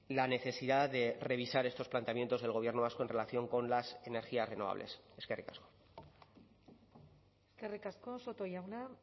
la necesidad de revisar estos planteamientos del gobierno vasco en relación con las energías renovables eskerrik asko eskerrik asko soto jauna